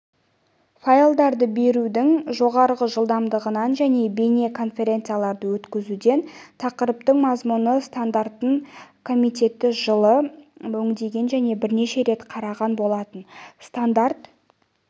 файлдарды берудің жоғары жылдамдығынан және бейне конференцияларды өткізуден тақырыптың мазмұны стандартын комитеті жылы өңдеген және бірнеше рет қараған болатын стандарт